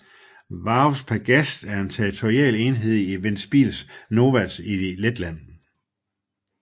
Vārves pagasts er en territorial enhed i Ventspils novads i Letland